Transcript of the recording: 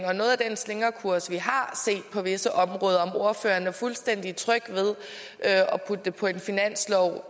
og noget af den slingrekurs vi har set på visse områder er fuldstændig tryg ved at putte det på en finanslov